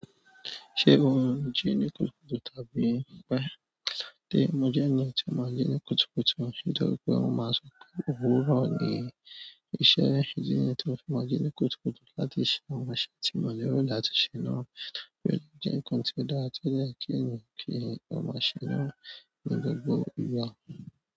Ṣé o ń jí ní kutu tàbí pẹ́? Dé, mo jẹ́ ẹni tí ó máa ń jí ní kùtùkùtù. Nítorí pé wọn máa n sọ pé òwúrọ̀ ni iṣẹ́. Idi niyẹn tí mo fi máa jí ní kùtùkùtù láti ṣe àwọn iṣẹ́ tí mò lero láti ṣè náà, ti o dẹ jẹ nǹkan ti o dára tó yẹ kí ènìyàn kí o máa ṣé náà ní gbogbo ìgbà.